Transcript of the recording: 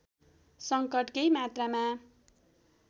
संकट केही मात्रामा